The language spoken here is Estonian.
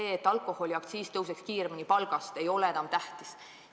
See, et alkoholiaktsiis tõuseks palgast kiiremini, ei ole enam tähtis.